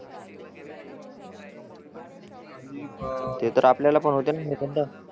प ते तर आपल्याला पण होते न निबंध